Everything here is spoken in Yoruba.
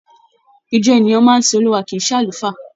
Ìjọ ènìyàn máa sin Olúwa kìí ṣe àlùfáà.